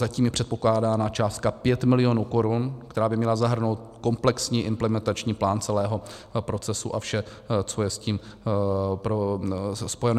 Zatím je předpokládána částka 5 milionů korun, která by měla zahrnout komplexní implementační plán celého procesu a vše, co je s tím spojeno.